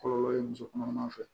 Kɔlɔlɔ ye muso kɔnɔma fɛ